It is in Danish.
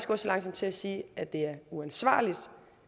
gå så langt som til at sige at det er uansvarligt